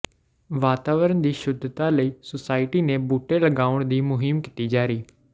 ਵਾਤਾਵਰਨ ਦੀ ਸ਼ੁੱਧਤਾ ਲਈ ਸੁਸਾਇਟੀ ਨੇ ਬੂਟੇ ਲਾਉਣ ਦੀ ਮੁਹਿੰਮ ਕੀਤੀ ਜਾਰੀ